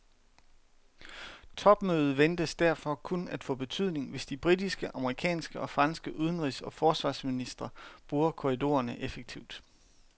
Topmødet ventes derfor kun at få betydning, hvis de britiske, amerikanske og franske udenrigs og forsvarsministre bruger korridorerne effektivt.